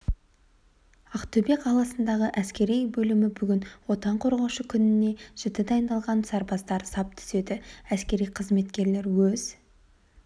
ақтөбе қаласындағы әскери бөлімі бүгін отан қорғаушы күніне жіті дайындалған сарбаздар сап түзеді әскери қызметкерлер өз